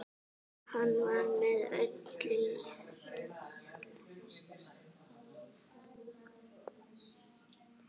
Hann var með í öllu.